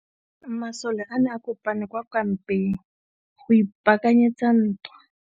Masole a ne a kopane kwa kampeng go ipaakanyetsa ntwa.